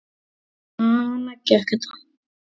Svona gekk þetta.